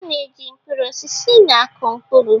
A na-eji mkpụrụ osisi na-akụ mkpụrụ.